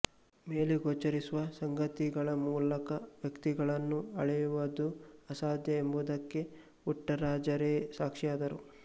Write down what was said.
ಮೇಲೆ ಗೋಚರಿಸುವ ಸಂಗತಿಗಳ ಮೂಲಕ ವ್ಯಕ್ತಿಗಳನ್ನು ಅಳೆಯುವದು ಅಸಾಧ್ಯ ಎಂಬುವದಕ್ಕೆ ಪುಟ್ಟರಾಜರೆ ಸಾಕ್ಷಿಯಾದರು